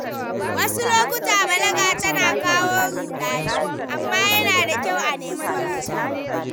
Wasu lokuta balaga tana kawo rudani, amma yana da kyau a nemi mafita.